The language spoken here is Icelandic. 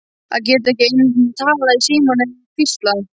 Að geta ekki einu sinni talað í símann nema hvísla.